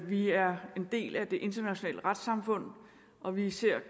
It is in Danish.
vi er en del af det internationale retssamfund og vi ser